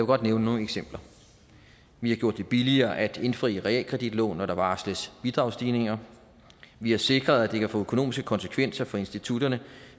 godt nævne nogle eksempler vi har gjort det billigere at indfri realkreditlån når der varsles bidragsstigninger vi har sikret at det kan få økonomiske konsekvenser for institutterne